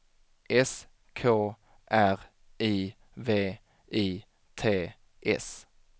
S K R I V I T S